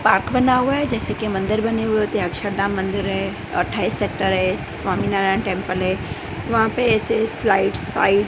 Park बना हुआ है जैसे की मंदिर बने हुए थे अक्षरधाम मंदिर है अट्ठाईसतह है स्वामीनारायण टेंपल है वहां पे ऐसे स्लाइड्स ।